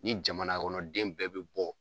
Ni jamana kɔnɔ den bɛɛ bi bɔ